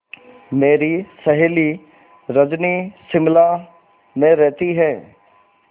मेरी सहेली रजनी शिमला में रहती है